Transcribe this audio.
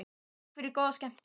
Takk fyrir og góða skemmtun.